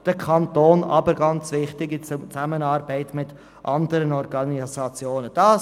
– Der Kanton soll dies in Zusammenarbeit mit anderen Organisationen tun.